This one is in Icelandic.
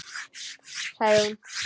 Sagði hún.